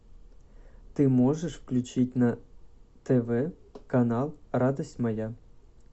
ты можешь включить на тв канал радость моя